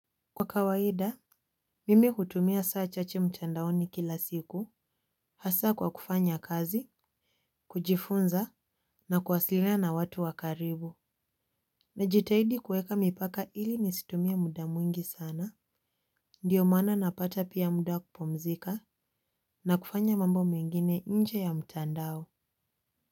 Kwa kawaida, mimi utumia saa chacei mtandaoni kila siku, hasa kwa kufanya kazi, kujifunza, na kwasilina na watu wa karibu. Najitahidi kuweka mipaka ili nisitumie muda mwingi sana, ndiyo mana napata pia muda kupumzika, na kufanya mambo mengine inje ya mtandao.